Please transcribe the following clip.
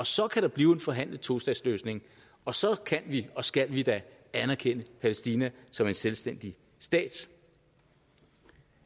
så kan der blive en forhandlet tostatsløsning og så kan vi og skal vi anerkende palæstina som en selvstændig stat